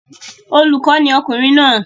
Olùkọ́ ni ọkùnrin náà